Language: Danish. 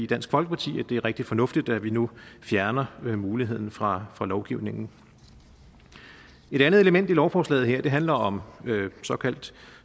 dansk folkeparti at det er rigtig fornuftigt at vi nu fjerner muligheden fra fra lovgivningen et andet element i lovforslaget handler om såkaldt